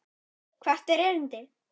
Hvert er erindi?